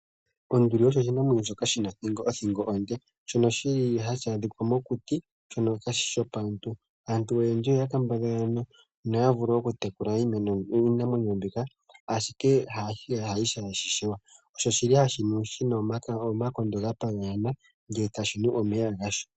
Onduli osho oshinamwenyo shina othingo onde shono shili hashi adhikwa mokuti shono kaashi shi shopaantu. Aantu oyendji oya kambadhala noya vule okutekula iinamwenyo mbika ihe inashi vulika . Osho shili shimwe shina omakondo ga paganyana ndele etashi nu omeya gasho.